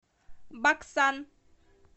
баксан